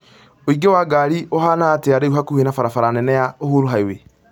ũingĩ wa ngari ũhaana atĩa rĩu hakuhĩ na barabara nene ya uhuru highway